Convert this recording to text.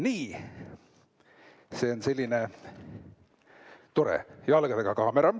Nii, see on selline tore jalgadega kaamera.